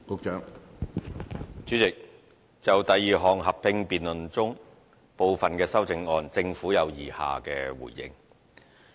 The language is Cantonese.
主席，就第二項合併辯論中，部分的修正案，政府有以下的回應。